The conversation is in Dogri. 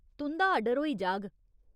तुं'दा आर्डर होई जाह्ग।